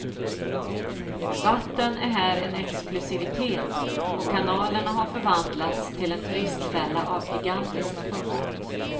Vatten är här en exklusivitet och kanalerna har förvandlats till en turistfälla av gigantiskt format.